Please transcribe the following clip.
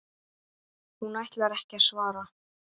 Hún ætlar ekki að svara.